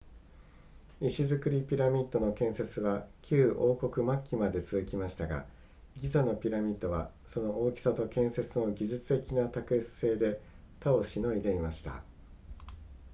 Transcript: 石造りピラミッドの建設は旧王国末期まで続きましたがギザのピラミッドはその大きさと建設の技術的な卓越性で他を凌いでいました